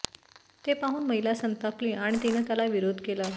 ते पाहून महिला संतापली आणि तिनं त्याला विरोध केला